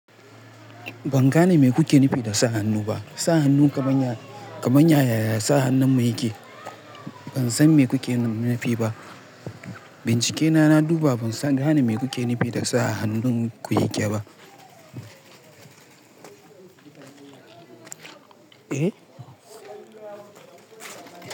Ban gane me kuke nufi da sa hannu ba. Sa hannu kaman ya yaya sa hannun mu yake? Ban san me kuke nufi ba. Bincike na, na duba ban sa gane me kuke nufi da sa hannun ku yake ba. Eh.